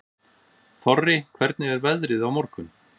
Þorri, hvernig er veðrið á morgun?